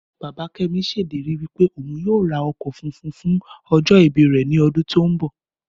Bàbá Kẹ́mi ṣèlérí wípé òhun yíò ra ọkọ̀ funfun fún ojó ìbí rè ní ọdún tí o nbọ